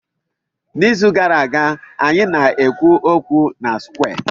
N'izu gara aga, anyị na-ekwu okwu na square.